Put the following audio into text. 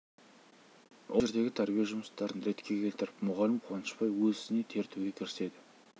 ол жердегі тәрбие жұмыстарын ретке келтіріп мұғалім қуанышбай өз ісіне тер төге кіріседі